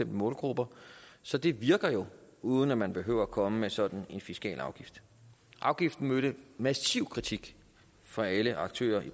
målgrupper så det virker jo uden at man havde behøvet at komme med sådan en fiskal afgift afgiften mødte massiv kritik fra alle aktører i